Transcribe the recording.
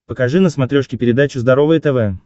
покажи на смотрешке передачу здоровое тв